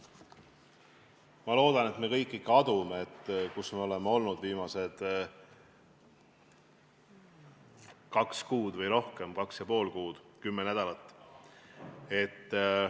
Ma loodan, et me kõik ikka adume, kus me oleme olnud viimased kaks kuud või rohkem, kaks ja pool kuud, kümme nädalat.